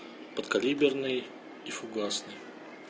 подкалиберный и фугасный